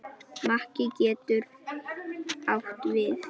Makki getur átt við